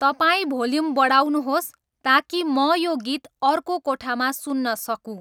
तपाईँ भोल्युम बढाउनुहोस् ताकि म यो गीत अर्को कोठामा सुन्न सकूँ